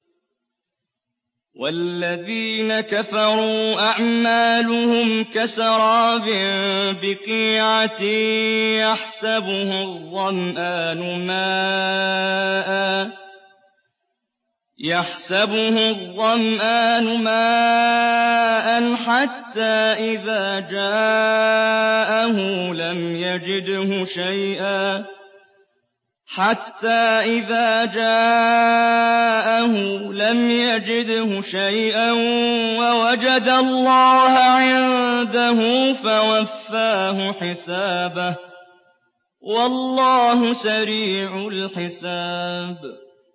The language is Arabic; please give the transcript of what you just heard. وَالَّذِينَ كَفَرُوا أَعْمَالُهُمْ كَسَرَابٍ بِقِيعَةٍ يَحْسَبُهُ الظَّمْآنُ مَاءً حَتَّىٰ إِذَا جَاءَهُ لَمْ يَجِدْهُ شَيْئًا وَوَجَدَ اللَّهَ عِندَهُ فَوَفَّاهُ حِسَابَهُ ۗ وَاللَّهُ سَرِيعُ الْحِسَابِ